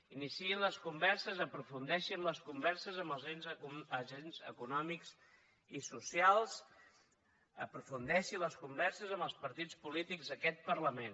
iniciïn les converses aprofundeixin les converses amb els agents econòmics i socials i aprofundeixin les converses amb els partits polítics d’aquest parlament